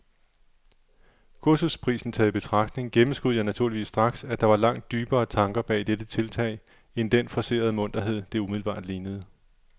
Kursusprisen taget i betragtning gennemskuede jeg naturligvis straks, at der var langt dybere tanker bag dette tiltag end den forcerede munterhed, det umiddelbart lignede.